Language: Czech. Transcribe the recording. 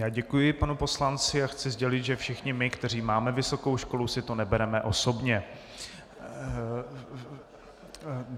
Já děkuji panu poslanci a chci sdělit, že všichni my, kteří máme vysokou školu, si to nebereme osobně.